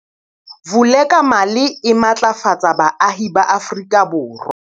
Vulekamali e matlafatsa baahi ba Afrika Borwa.